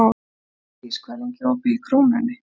Védís, hvað er lengi opið í Krónunni?